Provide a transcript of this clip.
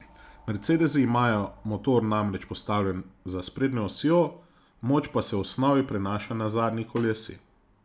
Mercedesi imajo motor namreč postavljen za sprednjo osjo, moč pa se v osnovi prenaša na zadnji kolesi.